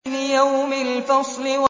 لِيَوْمِ الْفَصْلِ